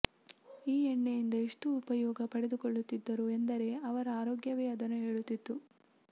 ಈ ಎಣ್ಣೆಯಿಂದ ಎಷ್ಟು ಉಪಯೋಗ ಪಡೆದುಕೊಳ್ಳುತ್ತಿದ್ದರು ಎಂದರೆ ಅವರ ಆರೋಗ್ಯವೇ ಅದನ್ನು ಹೇಳುತ್ತಿತ್ತು